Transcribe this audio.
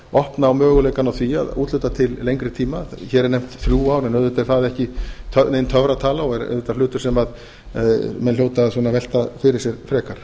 opna á möguleikann á því að úthluta til lengri tíma hér eru nefnd þrjú ár en auðvitað er það ekki nein töfratala og er auðvitað hlutur sem menn hljóta svona að velta fyrir sér frekar